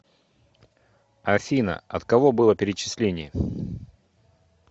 афина от кого было перечисление